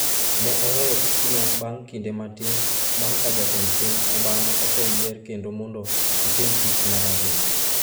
Ne oweyo tijno bang’ kinde matin bang’ ka Jatend piny Obama oseyier kendo mondo otim tich mar ariyo.